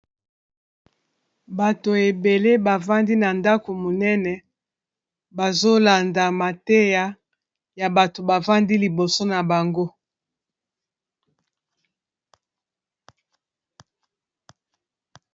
Bato ebele bavandi na ndako monene bazolanda mateya ya bato bavandi liboso na bango